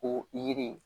Ko yiri